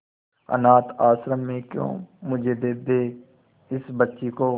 अनाथ आश्रम में क्यों मुझे दे दे इस बच्ची को